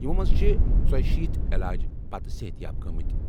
یِمو منٛزٕ چھِ 84 علاج پتہٕ صحت یاب گٔمٕتۍ